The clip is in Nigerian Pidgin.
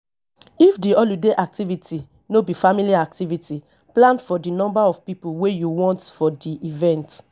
if di holiday activity no be family activity plan for di number of pipo wey you want for di event